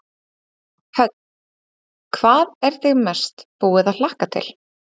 Hödd: Hvað er þig mest búið að hlakka til?